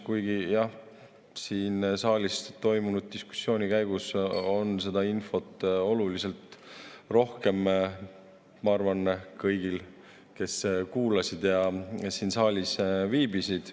Kuigi jah, siin saalis toimunud diskussiooni käigus said seda infot oluliselt rohkem, ma arvan, kõik, kes kuulasid ja siin saalis viibisid.